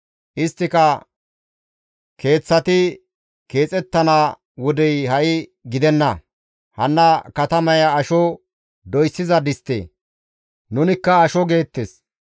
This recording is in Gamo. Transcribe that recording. Isttika, ‹Keeththati keexettana wodey ha7i gidenna. Hanna katamaya asho doyssiza distte; nunikka asho› geettes.